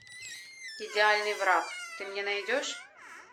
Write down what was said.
идеальный враг ты мне найдешь